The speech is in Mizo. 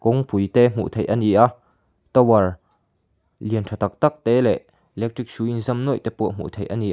kawngpui te hmuh theih a ni a tower lian tha tak tak te leh electric hrui inzam nuaih te pawh hmuh theih a ni a.